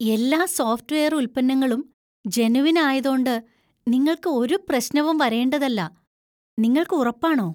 എല്ലാ software ഉൽപ്പന്നങ്ങളും genuine ആയതോണ്ട് നിങ്ങൾക്ക് ഒരു പ്രശ്നവും വരേണ്ടതല്ല. നിങ്ങൾക്ക് ഉറപ്പാണോ?